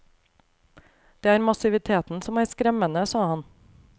Det er massiviteten som er skremmende, sa han.